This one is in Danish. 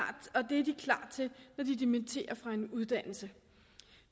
til når de dimitterer fra en uddannelse